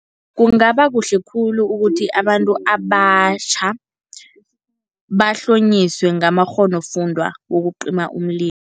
Kungaba kuhle khulu ukuthi abantu abatjha, bahlonyiswe ngamakghonofundwa wokucima umlilo.